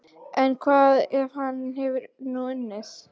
En hvað ef hann hefur nú unnið?